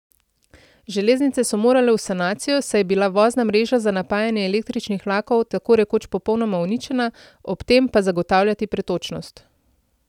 Železnice so morale v sanacijo, saj je bila vozna mreža za napajanje električnih vlakov takorekoč popolnoma uničena, ob tem pa zagotavljati pretočnost.